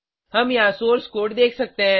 हम यहाँ source code देख सकते हैं